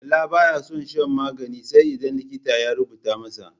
Bala ba ya son shan magani sai idan likita ya rubuta masa.